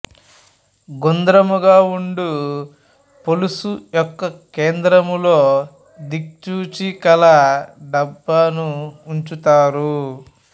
గుంద్రముగా ఉండు పొలుసు యొక్క కేంద్రములో దిక్సూచి కల డబ్బాను ఉంచుతారు